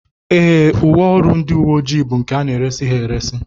Ee, uwe ọrụ ndị uwe ojii bụ nke a na-eresị ha eresị